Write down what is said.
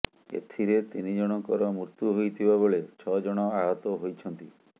ଏଥିରେ ତିନି ଜଣଙ୍କର ମୃତ୍ୟୁ ହୋଇଥିବା ବେଳେ ଛଅ ଜଣ ଆହତ ହୋଇଛନ୍ତି